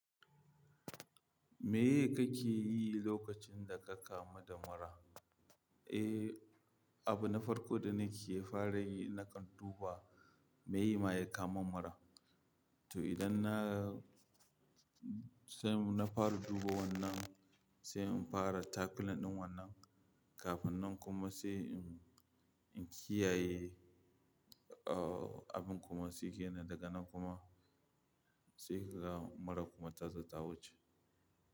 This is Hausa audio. Me ye kake yi lokacin da ka kamu da mura? Eh, abu na farko da nake fara yi nakan duba me ya ma ya kawo mun mura. To idan na, sai na fara duba wannan, sai in fara tackling ɗin wannan, kafin nan kuma sai in, in kiyaye, ooo abin kuma sai ke nan daga nan kuma sai kaga murar kuma tazo ta wuce.